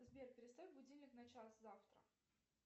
сбер переставь будильник на час завтра